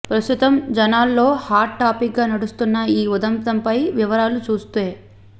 ప్రస్తుతం జనాల్లో హాట్ టాపిక్గా నడుస్తున్న ఈ ఉదంతంపై వివరాలు చూస్తే